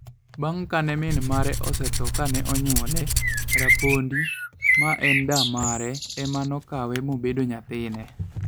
Bang' kane min mare osetho kane onyuole, Rapondi, ma en da mare, ema ne okawe mobedo nyathine.